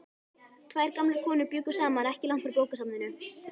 Tvær gamlar konur bjuggu saman ekki langt frá bókasafninu.